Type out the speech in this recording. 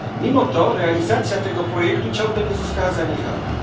Mimo to realizacja tego projektu ciągle nie została zaniechana.